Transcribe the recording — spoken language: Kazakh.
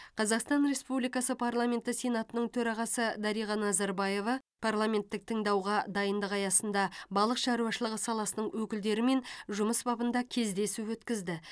қазақстан республикасы парламенті сенатының төрағасы дариға назарбаева парламенттік тыңдауға дайындық аясында балық шаруашылығы саласының өкілдерімен жұмыс бабында кездесу өткізді